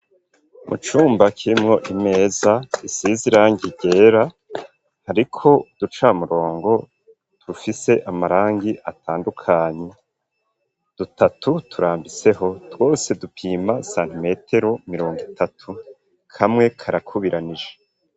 Mu cumba kirimwo imeza, isiz irangi ryera hariko uducamurongo dufise amarangi atandukanye, dutatu turambiseho, twose dupima santimetero mirongo itatu, kamwe karakubiranije.